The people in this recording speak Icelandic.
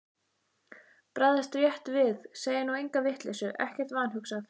Bregðast rétt við, segja nú enga vitleysu, ekkert vanhugsað.